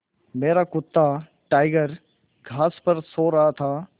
मेरा कुत्ता टाइगर घास पर सो रहा था